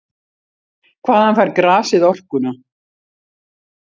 Hvaðan fær grasið orkuna?